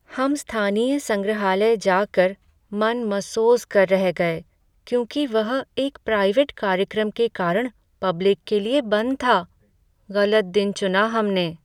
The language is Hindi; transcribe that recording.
हम स्थानीय संग्रहालय जाकर मन मसोस कर रह गए क्योंकि वह एक प्राइवेट कार्यक्रम के कारण पब्लिक के लिए बंद था। गलत दिन चुना हमने